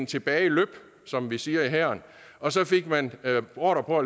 tilbageløb som vi siger i hæren og så fik man ordre på